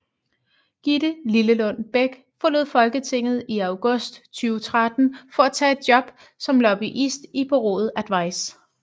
Gitte Lillelund Bech forlod Folketinget i august 2013 for at tage et job som lobbyist i bureauet Advice